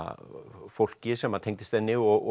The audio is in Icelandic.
fólki sem að tengdist henni og